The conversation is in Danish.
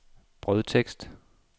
brødtekst